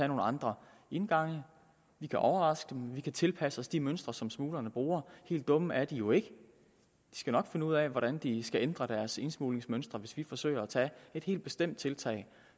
nogle andre indgange vi kan overraske dem vi kan tilpasse os de mønstre som smuglerne bruger helt dumme er de jo ikke de skal nok finde ud af hvordan de skal ændre deres indsmuglingsmønstre hvis vi forsøger at tage et helt bestemt tiltag